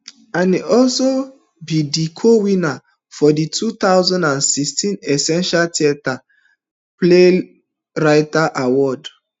e also be di cowinner of di two thousand and sixteen essential theatre playwriting award